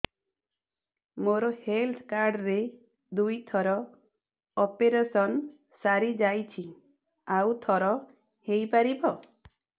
ମୋର health card ରେ ଦୁଇ ଥର ଅପେରସନ ସାରି ଯାଇଛି ଆଉ ଥର ହେଇପାରିବ